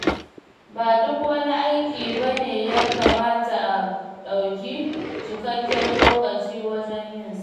Ba duk wani aiki ba ne ya kamata a ɗauki cikakken lokaci wajen yinsa.